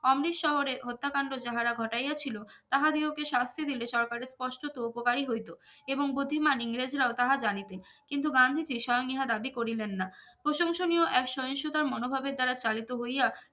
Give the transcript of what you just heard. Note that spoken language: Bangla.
অমৃত শহরে হত্যাকাণ্ড যাহারা ঘটাইয়া ছিলো তাহাদিগকে শাস্তি দিলে সরকারের স্পষ্ট তো উপকারই হইত এবং গতিমান ইংরেজেরাও তাহা জানিতেন কিন্তু গান্ধীজি স্বয়ং ইহা দাবি করিলেন না প্রশংসনীয় এক সহিষ্ণুতার মনোভাবের দ্বারা চালিত হইয়া